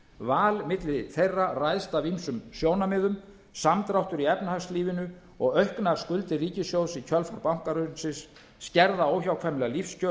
val milli þeirra ræðst af ýmsum sjónarmiðum samdráttur í efnahagslífinu og auknar skuldir ríkissjóðs í kjölfar bankahrunsins skerða óhjákvæmilega lífskjör